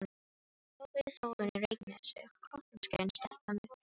hrópaði Þórunn í Reykjanesi, kotroskin stelpa með freknur.